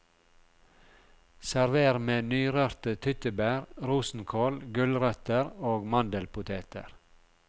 Server med nyrørte tyttebær, rosenkål, gulrøtter og mandelpoteter.